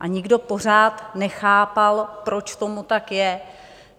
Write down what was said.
A nikdo pořád nechápal, proč tomu tak je.